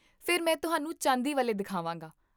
ਫਿਰ ਮੈਂ ਤੁਹਾਨੂੰ ਚਾਂਦੀ ਵਾਲੇ ਦਿਖਾਵਾਂਗਾ